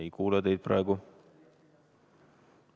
Ei kuule teid praegu.